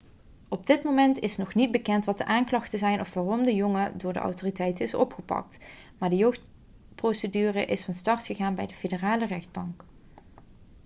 op dit moment is nog niet bekend wat de aanklachten zijn of waarom de jongen door de autoriteiten is opgepakt maar de jeugdprocedure is van start gegaan bij de federale rechtbank